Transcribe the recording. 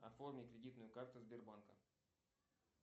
оформи кредитную карту сбербанка